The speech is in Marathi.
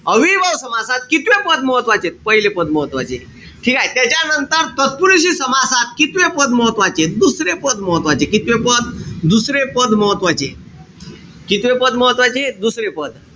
अव्ययीभाव समासात कितवे पद महत्वाचे? पहिले पद महत्वाचे. ठीकेय? त्याच्यानंतर तत्पुरुषी समासात कितवे पद महत्वाचे? दुसरे पद महत्वाचे. कितवे पद? दुसरे पद महत्वाचे. कितवे पद महत्वाचे? दुसरे पद.